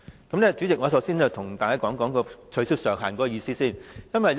代理主席，我首先向大家講解取消上限的意思。